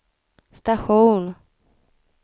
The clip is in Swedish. station